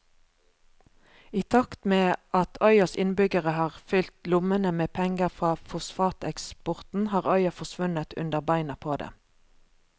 I takt med at øyas innbyggere har fylt lommene med penger fra fosfateksporten har øya forsvunnet under beina på dem.